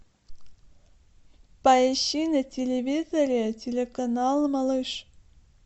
поищи на телевизоре телеканал малыш